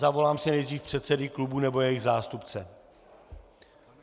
Zavolám si nejdřív předsedy klubů nebo jejich zástupce.